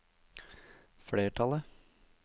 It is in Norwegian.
flertallet